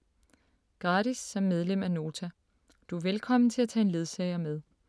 Gratis som medlem af Nota. Du er velkommen til at tage en ledsager med